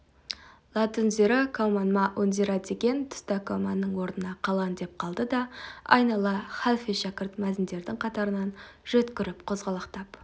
ләтунзира каумән мә унзира деген тұста каумәннің орнына қалан деп қалды да айнала халфе-шәкірт мәзіндердің қатарынан жөткіріп қозғалақтап